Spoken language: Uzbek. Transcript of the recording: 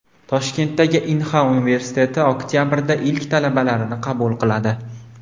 Toshkentdagi Inha universiteti oktabrda ilk talabalarini qabul qiladi.